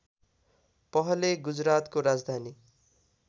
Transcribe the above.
पहले गुजरातको राजधानी